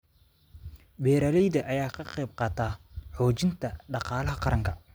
Beeralayda ayaa ka qayb qaata xoojinta dhaqaalaha qaranka.